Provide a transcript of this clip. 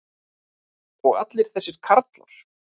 og allir þessir karlar.